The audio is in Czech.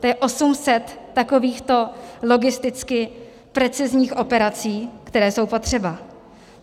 To je 800 takovýchto logisticky precizních operací, které jsou potřeba.